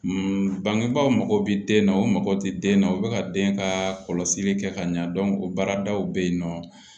bangebaaw mago bɛ den na u mago ti den na u bɛ ka den ka kɔlɔsili kɛ ka ɲa o baaradaw bɛ yen nɔ